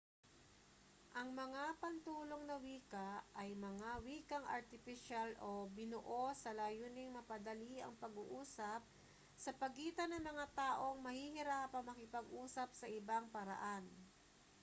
ang mga pantulong na wika ay mga wikang artipisyal o binuo sa layuning mapadali ang pag-uusap sa pagitan ng mga taong mahihirapang makipag-usap sa ibang paraan